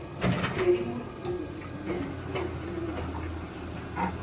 Tĩri mũritũ mũtune noũtũme maĩ marahe